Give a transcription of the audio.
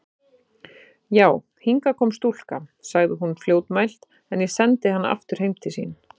Já, hingað kom stúlka, sagði hún fljótmælt,-en ég sendi hana aftur heim til sín.